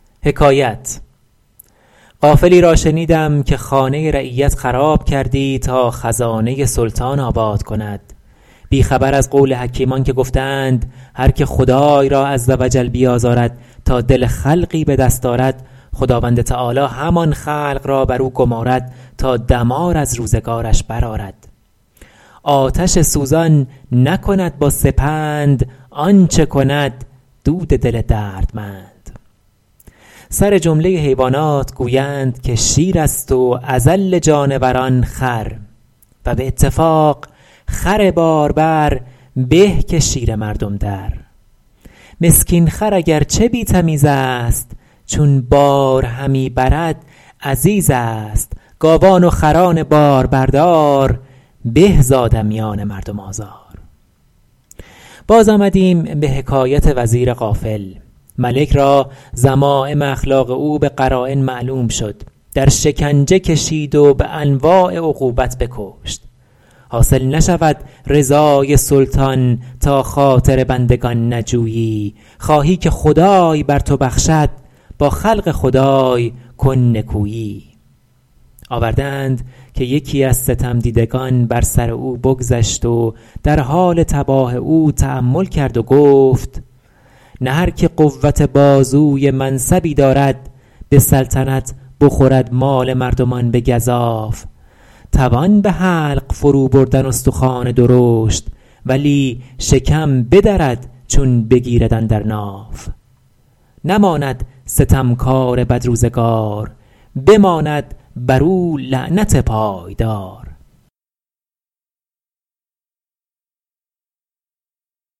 غافلی را شنیدم که خانه رعیت خراب کردی تا خزانه سلطان آباد کند بی خبر از قول حکیمان که گفته اند هرکه خدای را -عزوجل- بیازارد تا دل خلقی به دست آرد خداوند تعالیٰ همان خلق را بر او گمارد تا دمار از روزگارش برآرد آتش سوزان نکند با سپند آنچه کند دود دل دردمند سرجمله حیوانات گویند که شیر است و اذل جانوران خر و به اتفاق خر باربر به که شیر مردم در مسکین خر اگر چه بی تمیز است چون بار همی برد عزیز است گاوان و خران باربردار به ز آدمیان مردم آزار باز آمدیم به حکایت وزیر غافل ملک را ذمایم اخلاق او به قراین معلوم شد در شکنجه کشید و به انواع عقوبت بکشت حاصل نشود رضای سلطان تا خاطر بندگان نجویی خواهی که خدای بر تو بخشد با خلق خدای کن نکویی آورده اند که یکی از ستم دیدگان بر سر او بگذشت و در حال تباه او تأمل کرد و گفت نه هرکه قوت بازوی منصبی دارد به سلطنت بخورد مال مردمان به گزاف توان به حلق فرو بردن استخوان درشت ولی شکم بدرد چون بگیرد اندر ناف نماند ستم کار بدروزگار بماند بر او لعنت پایدار